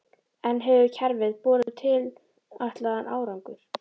En hefur kerfið borið tilætlaðan árangur?